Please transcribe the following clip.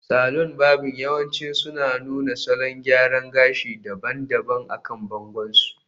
Saloni varbing yawanci suna nuna salon gyara gashi daban-daban akan bangon su